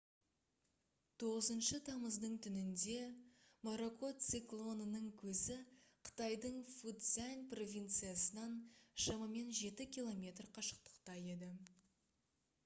9 тамыздың түнінде моракот циклонының көзі қытайдың фуцзянь провинциясынан шамамен жеті километр қашықтықта еді